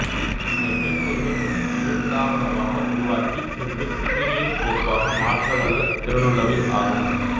இந்த மென்பொருள்கள் எழுத்தாவணமாக உருவாக்கி பின்பு பிடிஎப் கோப்பாக மாற்றவல்ல திறனுள்ளவை ஆகும்